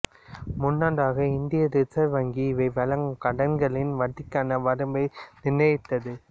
முன்னதாக இந்திய ரிசர்வ் வங்கி இவை வழங்கும் கடன்களின் வட்டிக்கான வரம்பை நிர்ணயித்தது